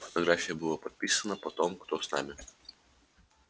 под фотографией было подписано потом кто с нами